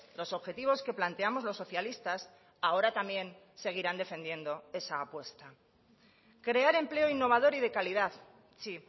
los objetivos que planteamos los socialistas ahora también seguirán defendiendo esa apuesta crear empleo innovador y de calidad sí